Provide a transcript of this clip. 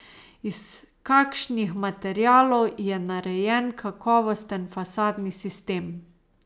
Iz kakšnih materialov je narejen kakovosten fasadni sistem?